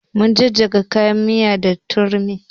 Mun jajjaga kayan miya da turmi